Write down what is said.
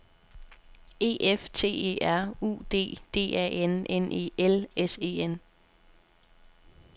E F T E R U D D A N N E L S E N